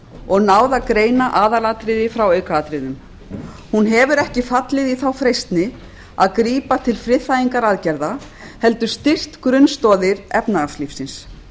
og náð að greina aðalatriði frá aukaatriðum hún hefur ekki fallið í freistni að grípa til friðþægingaraðgerða heldur styrkt grunnstoðir efnahagslífsins